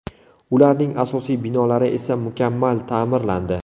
Ularning asosiy binolari esa mukammal ta’mirlandi.